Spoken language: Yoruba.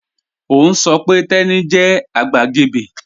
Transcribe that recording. Ọ̀ n sọ̀ pé Teni jẹ́ agbàgébẹ́.